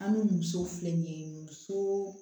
An ni muso filɛ nin ye muso